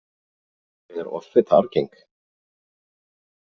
Er offita arfgeng?